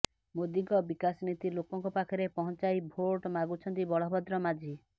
ମୋଦିଙ୍କ ବିକାଶ ନୀତି ଲୋକଙ୍କ ପାଖରେ ପହଂଚାଇ ଭୋଟ ମାଗୁଛନ୍ତି ବଳଭଦ୍ର ମାଝି